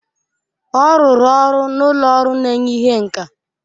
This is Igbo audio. Ọ rụrụ ọrụ na ụlọ ọrụ na-enye ihe nka.